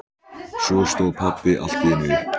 Svo stóð pabbi allt í einu upp.